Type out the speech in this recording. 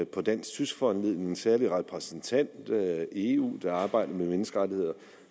på dansk tysk foranledning udpeget en særlig repræsentant i eu der arbejder med menneskerettigheder